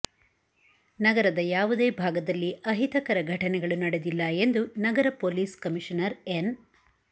ನಗರದ ಯಾವುದೇ ಭಾಗದಲ್ಲಿ ಅಹಿತಕರ ಘಟನೆಗಳು ನಡೆದಿಲ್ಲ ಎಂದು ನಗರ ಪೊಲೀಸ್ ಕಮಿಷನರ್ ಎನ್